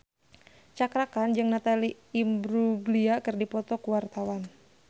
Cakra Khan jeung Natalie Imbruglia keur dipoto ku wartawan